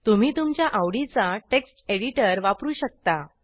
तुम्ही तुमच्या आवडीचा टेक्स्ट एडिटर वापरू शकता